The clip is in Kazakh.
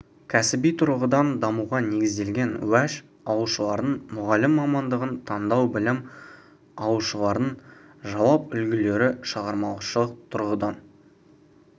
кәсіби тұрғыдан дамуға негізделген уәж алушылардың мұғалім мамандығын таңдау білім алушылардың жауап үлгілері шығармашылық тұрғыдан